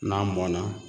N'a mɔnna